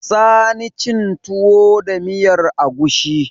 Sani cin tuwo da miyar agushi